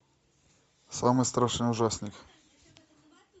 самый страшный ужастик